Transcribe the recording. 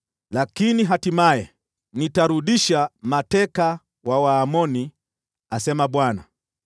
“Lakini hatimaye, nitarudisha mateka wa Waamoni,” asema Bwana .